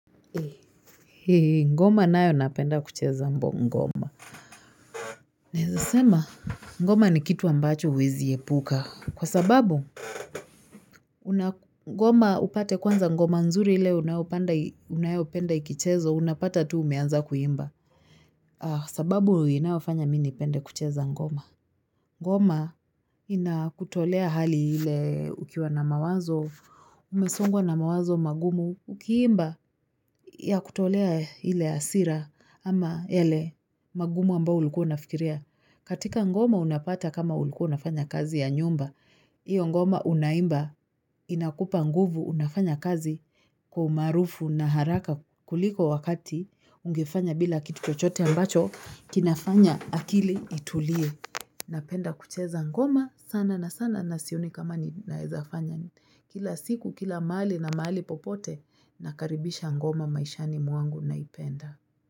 Ngoma ninayo napenda kucheza ngoma Naeza sema ngoma ni kitu ambacho uwezi epuka Kwa sababu ngoma upate kwanza ngoma nzuri ile unayopenda ikichezo unapata tu umeanza kuimba sababu inafanya mimi nipende kucheza ngoma ngoma inakutolea hali ile ukiwa na mawazo umesongwa na mawazo magumu ukiimba Yakutolea ile hasira ama yale magumu ambao ulikuwa unafikiria. Katika ngoma unapata kama ulikuwa nafanya kazi ya nyumba. Iyo ngoma unaimba inakupa nguvu unafanya kazi kwa umarufu na haraka kuliko wakati ungefanya bila kitu chochote ambacho kinafanya akili itulie. Napenda kucheza ngoma sana na sana na sioni kama ni naezafanya. Kila siku, kila mali na mali popote, nakaribisha ngoma maishani mwangu naipenda.